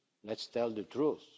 Let's tell the truth.